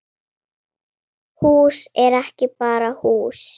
Hús er ekki bara hús